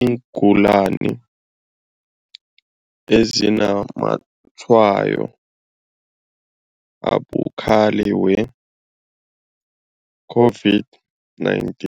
iingulani ezinazamatshwayo abukhali we-COVID-19.